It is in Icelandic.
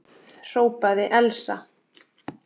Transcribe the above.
hrópaði Elsa.